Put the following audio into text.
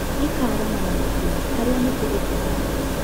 Ikĩraarama na mĩtĩ harĩa mĩtĩ ĩkũhanwo.